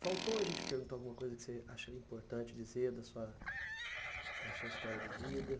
Faltou a gente perguntar alguma coisa que você acharia importante dizer da sua da sua história de vida?